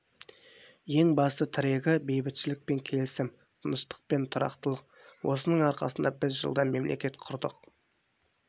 ең басты тірегі бейбітшілік пен келісім тыныштық пен тұрақтылық осының арқасында біз жылда мемлекет құрдық